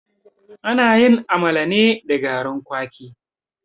Ana yin amala ne da garin kwaki.